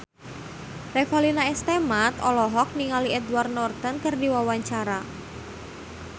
Revalina S. Temat olohok ningali Edward Norton keur diwawancara